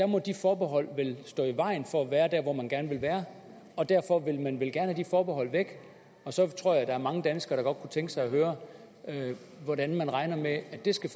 må de forbehold vel stå i vejen for at være der hvor man gerne vil være og derfor vil man vel gerne have de forbehold væk og så tror jeg der er mange danskere tænke sig at høre hvordan man regner med at det skal